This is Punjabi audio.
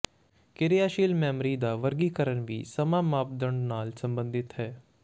ਕਿਰਿਆਸ਼ੀਲ ਮੈਮੋਰੀ ਦਾ ਵਰਗੀਕਰਨ ਵੀ ਸਮਾਂ ਮਾਪਦੰਡ ਨਾਲ ਸੰਬੰਧਿਤ ਹੈ